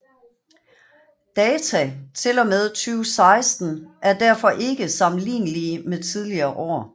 Data fra og med 2016 er derfor ikke sammenlignelige med tidligere år